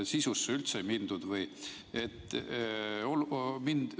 Sisusse üldse ei mindud või?